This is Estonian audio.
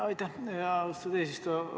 Aitäh, austatud eesistuja!